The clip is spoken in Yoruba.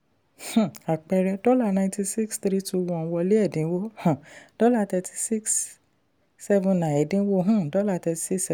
um àpẹẹrẹ: dollar ninety six three two one wọlé ẹ̀dínwó um dollar thirty six seven nine ẹ̀dínwó um dollar thirty six